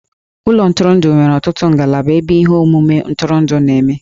Ụlọ ntụrụndụ nwere ọtụtụ ngalaba ebe ihe omume ntụrụndụ na-eme.